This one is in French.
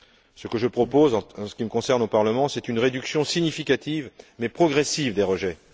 Ce que je propose, en ce qui me concerne, au Parlement, c'est une réduction significative mais progressive des rejets.